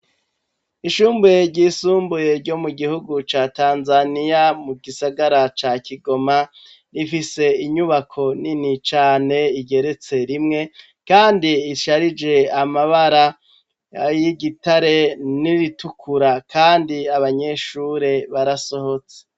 ishuri ryisumbuye ryo mu gihugu ca Tanzaniya mu gisagara ca Kigoma rifise inyubako nini cane igeretse rimwe kandi isharije amabara y'igitare n'iritukura kandi abanyeshuri barasohotse.